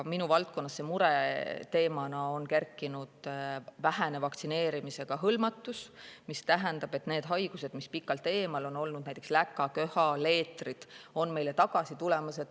Minu valdkonnas on mureteemana kerkinud vähene vaktsineerimisega hõlmatus, mis tähendab, et need haigused, mis on pikalt meist eemal olnud, näiteks läkaköha või leetrid, on meile tagasi tulemas.